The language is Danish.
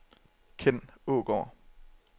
Kenn Aagaard